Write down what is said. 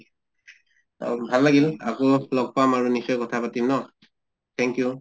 অহ ভাল লাগিলে, আকৌ লগ পাম আৰু নিশ্চয় কথা পাতিম ন। thank you